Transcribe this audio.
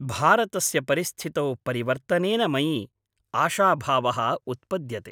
भारतस्य परिस्थितौ परिवर्तनेन मयि आशाभावः उत्पद्यते।